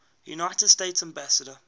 united states ambassadors